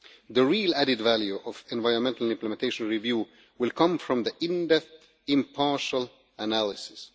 The real added value of the environmental implementation review will come from in-depth impartial analysis.